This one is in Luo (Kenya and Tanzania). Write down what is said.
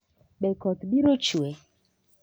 Be koth biro chue?